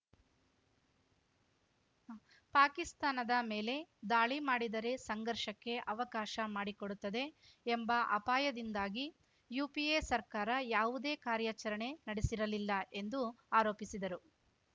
ಪಾಕಿಸ್ತಾನದ ಮೇಲೆ ದಾಳಿ ಮಾಡಿದರೆ ಸಂಘರ್ಷಕ್ಕೆ ಅವಕಾಶ ಮಾಡಿಕೊಡುತ್ತದೆ ಎಂಬ ಅಪಾಯದಿಂದಾಗಿ ಯುಪಿಎ ಸರ್ಕಾರ ಯಾವುದೇ ಕಾರ್ಯಾಚರಣೆ ನಡೆಸಿರಲಿಲ್ಲ ಎಂದು ಆರೋಪಿಸಿದರು